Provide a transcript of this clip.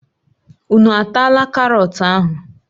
Unu ataala karọt ahụ!